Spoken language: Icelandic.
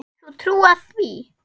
Getur þú trúað því?